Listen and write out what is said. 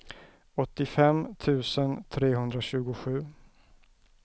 åttiofem tusen trehundratjugosju